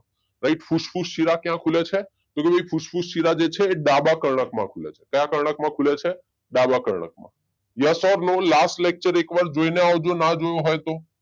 Right ફૂસ્ફૂસ શીલા ક્યાં ખુલે છે? તો એ ફૂસ્ફૂસ શીલા જે છે એ ડાબા કર્ણકમાં ખુલે છે ક્યાં કર્ણકમાં ખુલે છે? ડાબા કર્ણકમાં, યસ ઔર નો લાસ્ટ લેક્ચર એકવાર જોઇને આવજો ના જોયો હોય તો